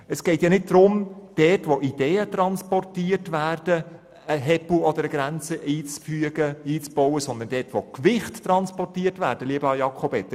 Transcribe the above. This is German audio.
Es geht nicht darum, dort wo Ideen transportiert werden, eine Grenze einzubauen, sondern dort, wo Gewichte verschoben werden, lieber Jakob Etter!